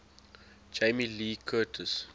jamie lee curtis